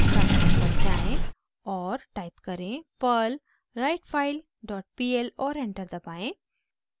terminal पर जाएँ और टाइप करें perl writefile dot pl और एंटर दबाएं